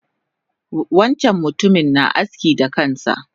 Wancan mutumin na aski da kansa